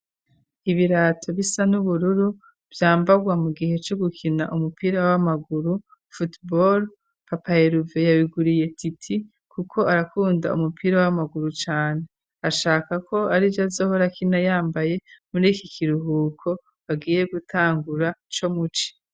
ibirato bisa n'ubururu vyambarwa mu gihe co gukina umupira w'amaguru(football ), papa Eluve yabiguriye Titi kuko arakunda umupira w'amaguru cane ashaka ko arivyo azohora akina yambaye muri iki kiruhuko bagiye gutangura co muci.